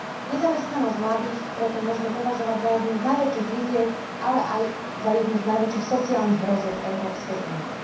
Nezamestnanosť mladých preto možno považovať za jednu z najväčších výziev, ale aj za jednu z najväčších sociálnych hrozieb Európskej únie.